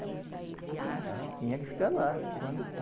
tinha que ficar lá, tomando con